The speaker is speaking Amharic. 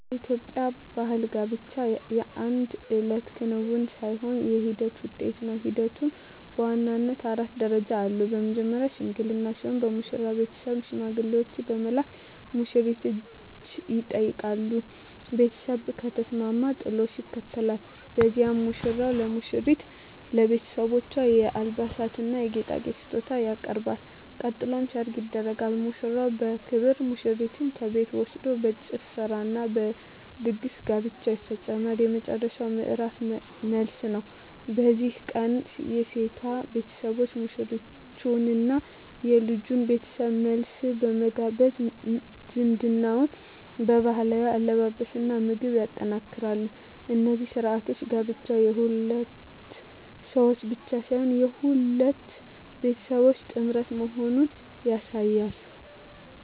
በኢትዮጵያ ባሕል ጋብቻ የአንድ እለት ክንውን ሳይሆን የሂደት ውጤት ነው። ሂደቱም በዋናነት አራት ደረጃዎች አሉት። መጀመርያው "ሽምግልና" ሲሆን፣ የሙሽራው ቤተሰብ ሽማግሌዎችን በመላክ የሙሽሪትን እጅ ይጠይቃሉ። ቤተሰብ ከተስማማ "ጥሎሽ" ይከተላል፤ በዚህም ሙሽራው ለሙሽሪትና ለቤተሰቦቿ የአልባሳትና የጌጣጌጥ ስጦታ ያቀርባል። ቀጥሎ "ሰርግ" ይደረጋል፤ ሙሽራው በክብር ሙሽሪትን ከቤቷ ወስዶ በጭፈራና በድግስ ጋብቻው ይፈጸማል። የመጨረሻው ምዕራፍ "መልስ" ነው። በዚህ ቀን የሴቷ ቤተሰቦች ሙሽሮቹንና የልጁን ቤተሰብ መልሰው በመጋበዝ ዝምድናውን በባህላዊ አለባበስና ምግብ ያጠናክራሉ። እነዚህ ሥርዓቶች ጋብቻው የሁለት ሰዎች ብቻ ሳይሆን የሁለት ቤተሰቦች ጥምረት መሆኑን ያሳያሉ።